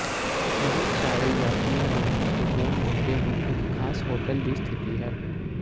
ਬਹੁਤ ਸਾਰੇ ਯਾਤਰੀਆ ਲਈ ਮਹੱਤਵਪੂਰਨ ਮੁੱਦੇ ਨੂੰ ਇੱਕ ਖਾਸ ਹੋਟਲ ਦੀ ਸਥਿਤੀ ਹੈ